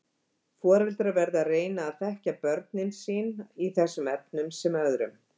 Foreldrar verða að reyna að þekkja sín börn í þessum efnum sem öðrum.